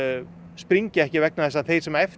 springi ekki vegna þess að þeir sem eftir